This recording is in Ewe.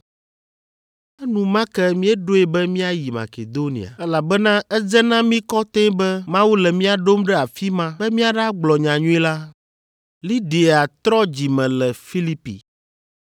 Enumake míeɖoe be míayi Makedonia, elabena edze na mí kɔtɛe be Mawu le mía ɖom ɖe afi ma be míaɖagblɔ nyanyui la.